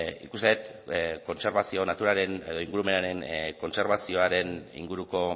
nik uste dut kontserbazio naturaren edo ingurumenaren kontserbazioaren inguruko